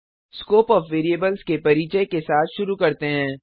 scope of variables के परिचय के साथ शुरू करते हैं